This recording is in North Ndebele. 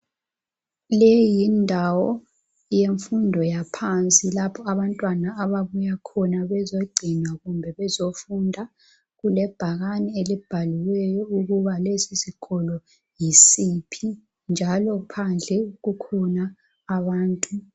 Leyi yindawo yemfundo yaphansi lapho abantwana ababuya khona bezogcinwa kumbe bezofunda. Kulebhakani elibhaliweyo ukuba lesi sikolo yisiphi njalo phandle kukhona abantu.